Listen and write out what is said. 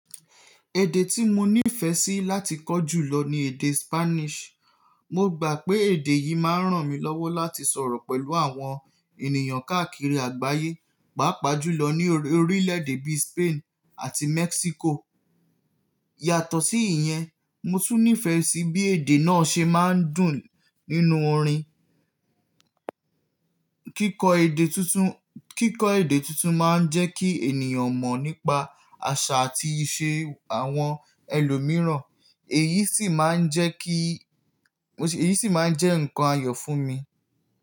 Èdè tí mo nífẹsí láti kọ́ jù lọ ni èdè Spanish. Mo gbà pé èdè yìí máa rán mi lọ́wọ́ láti sọ̀rọ̀ pẹ̀lú àwọn ènìyàn káàkiri àgbáyé, pàápàá jùlọ ní orílẹ̀ èdè bíi Spain àti Mexico. Yàtọ̀ sí ìyẹn, mo tún nífẹẹ sí bí èdè náà ṣe máa ń dùn nínú orin. Kíkọ́ èdè tuntun, kíkọ́ èdè tuntun máa ń jẹ́ kí ènìyàn mọ̀ nípa àṣà àti ìṣe àwọn ẹlòmíràn, èyí sì máa ń jẹ́ kí, èyí sì máa ń jẹ́ ǹkan ayọ̀ fún mi.